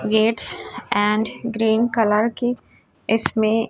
gets and green colour की इसमें--